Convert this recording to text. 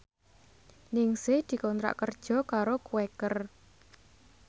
Ningsih dikontrak kerja karo Quaker